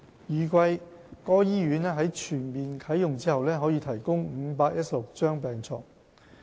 預計該醫院在全面啟用後可提供516張病床。